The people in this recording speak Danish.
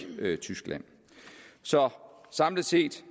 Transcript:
tyskland så samlet set